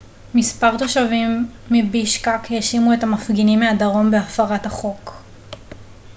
מספר תושבים מבישקק האשימו את המפגינים מהדרום בהפרת החוק